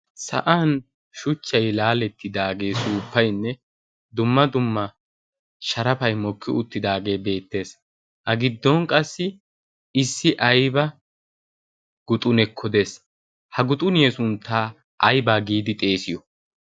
sa'an shuchchay laalettidaagee suuppaynne dumma dumma sharafay mokki uttidaagee beettees ha giddon qassi issi ayba guxunekka dees ha guxuniye sunttaa aybaa giidi xeesiyo?